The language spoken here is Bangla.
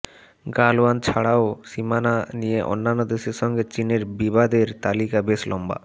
গালওয়ান ছাড়াও সীমানা নিয়ে অন্যান্য দেশের সঙ্গে চিনের বিবাদের তালিকা বেশ লম্বা